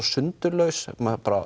sundurlaus maður